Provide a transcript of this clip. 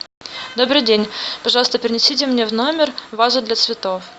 добрый день пожалуйста принесите мне в номер вазу для цветов